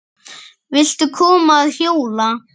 Viltu koma að hjóla?